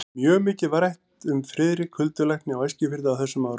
Mjög mikið var rætt um Friðrik huldulækni á Eskifirði á þessum árum.